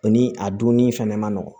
O ni a dunni fɛnɛ ma nɔgɔ